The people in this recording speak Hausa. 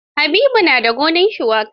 Habibu na da gonar shuwaka.